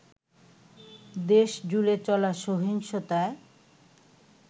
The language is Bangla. দেশজুড়ে চলা সহিংসতায়